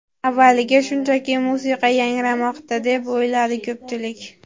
Avvaliga, shunchaki musiqa yangramoqda, deb o‘yladi ko‘pchilik.